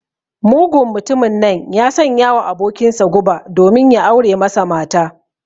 Mugun mtumin nan ya sanyawa abokinsa guba domin ya aure masa mata.